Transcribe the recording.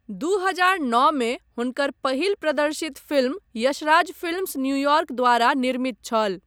दू हजार नओ मे हुनकर पहिल प्रदर्शित फिल्म यशराज फिल्म्स न्यूयॉर्क द्वारा निर्मित छल।